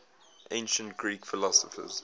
ancient greek philosophers